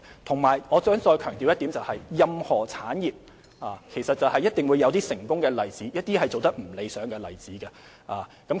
再者，我想再次強調，任何產業一定會有成功及不理想的例子。